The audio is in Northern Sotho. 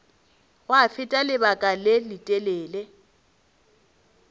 gwa feta lebaka le letelele